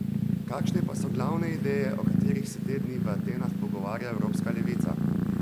Kakšne pa so glavne ideje, o katerih se te dni v Atenah pogovarja evropska levica?